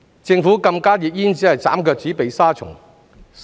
政府禁加熱煙只是"斬腳趾避沙蟲"。